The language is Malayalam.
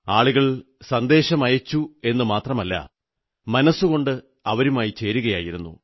ആളുകൾ സന്ദേശമയച്ചുവെന്നു മാത്രമല്ല മനസ്സുകൊണ്ട് അവരുമായി ചേരുകയായിരുന്നു